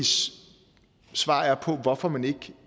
svar på hvorfor man ikke